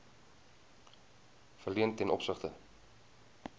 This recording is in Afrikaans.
verleen ten opsigte